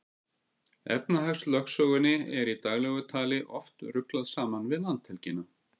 Efnahagslögsögunni er í daglegu tali oft ruglað saman við landhelgina.